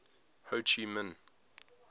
ho chi minh